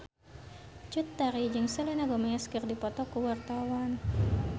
Cut Tari jeung Selena Gomez keur dipoto ku wartawan